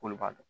K'olu b'a dɔn